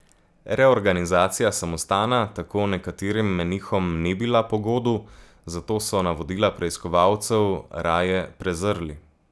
Reorganizacija samostana tako nekaterim menihom ni bila pogodu, zato so navodila preiskovalcev raje prezrli.